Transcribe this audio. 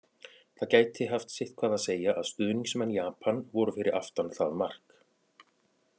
Það gæti haft sitthvað að segja að stuðningsmenn Japan voru fyrir aftan það mark!